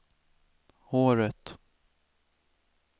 håret